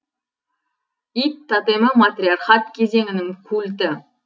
ит тотемі матриархат кезеңінің культі